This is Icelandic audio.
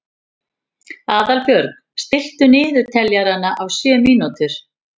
Aðalbjörg, stilltu niðurteljara á sjö mínútur.